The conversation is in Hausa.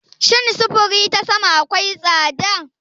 Shin sufuri ta sama akwai tsada?